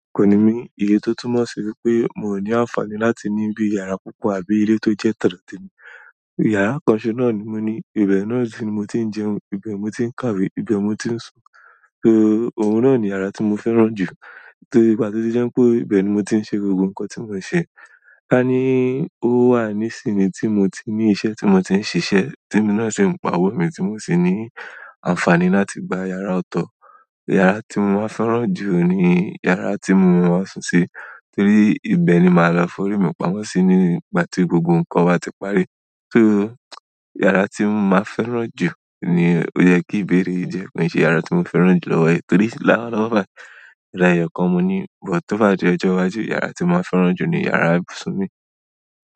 Kò ní mí iye tó túmọ̀ sí wípé mi ò ní àǹfààní láti ní bí yàrá púpọ̀ àbí ilé tó jẹ́ tọ̀dọ̀ ti mí. Yàrá kan ṣọ́ náà ni mo ní, ibẹ̀ náà ni mo ti ń jẹun, ibẹ̀ mo ti ń kàwé, ibẹ̀ mo ti ń sùn. O nani ara tí mo fẹ́ràn jù ti gba tó jẹ́ pé ibẹ̀yẹn jẹ́ ibi tí mo máa ń ṣe nti mon ṣe àní o wa ni sin nti mo tin ṣiṣẹ́ tí mo tin ṣiṣẹ́ tí èmi na tin pa owó mo sì ni afani láti gba ìyàrá ọ̀tọ̀ yàrá tí mo máa ń fẹ́ràn jù ni yàrá tí mo wà súùn sí torí ibẹ̀ ni màá lọ forí mi pamọ́ sí nígbà tí gbogbo nǹkan wa ti parí. Sọ yàrá tí mo máa ń fẹ́ràn jù ni ó yẹ kí ìbéèrè yìí jẹ́ kí n ṣe yàrá tí mo fẹ́ràn jù lọ́wọ́ ẹ torí lowọ lọ́wo bí, yàrá kan mo ní. O tó bá jẹ́ ọjọ́ wájú ìyàrá tí mo fẹ́ràn jù ni ìyàrá simi.